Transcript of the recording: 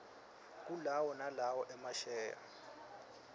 kulawo nalowo emasheya